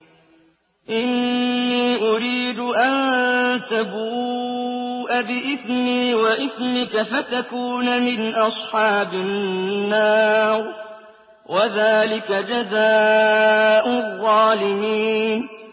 إِنِّي أُرِيدُ أَن تَبُوءَ بِإِثْمِي وَإِثْمِكَ فَتَكُونَ مِنْ أَصْحَابِ النَّارِ ۚ وَذَٰلِكَ جَزَاءُ الظَّالِمِينَ